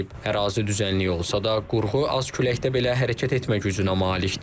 Ərazi düzənlik olsa da, qurğu az küləkdə belə hərəkət etmək gücünə malikdir.